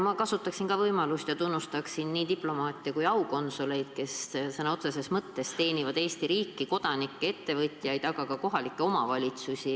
Ma kasutan ka võimalust ja tunnustan nii aukonsuleid kui ka teisi diplomaate, kes sõna otseses mõttes teenivad Eesti riiki, kodanikke, ettevõtjaid, aga ka kohalikke omavalitsusi.